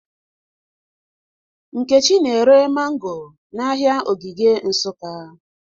Nkechi na-ere mango n'ahịa Ogige Nsụka